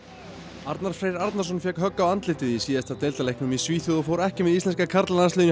Arnar Freyr Arnarsson fékk högg í síðasta deildarleiknum í Svíþjóð og fór ekki með íslenska karlalandsliðinu í